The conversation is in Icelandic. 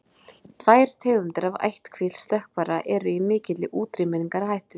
tvær tegundir af ættkvísl stökkvara eru í mikilli útrýmingarhættu